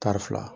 Tari fila